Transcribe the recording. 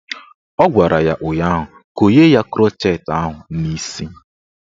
Ọ gwara ya ụnyaahụ "Konye ya krọchet ahụ n'isi "